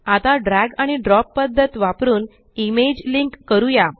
आता ड्रॅग आणि ड्रॉप पद्धत वापरुन इमेज लिंक करूया